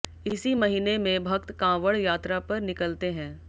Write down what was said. इसी महीने में भक्त कांवड़ यात्रा पर निकलते है